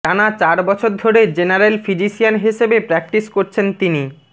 টানা চার বছর ধরে জেনারেল ফিজিশিয়ান হিসেবে প্র্যাক্টিস করছেন তিনি